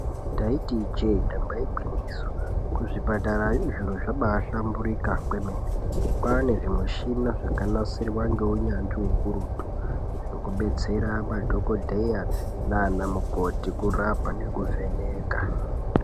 Ndaiti ijee, damba igwinyiso, kuzvipatara zviro zvabahlamburuka kwemene. Kwane zvimushina zvakanasirwa ngeunyanzvi ukurutu zvekudetsera madhokoteya nana mukoti kurapa nekuvheneka.